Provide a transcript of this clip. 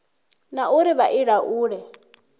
na uri vha i laule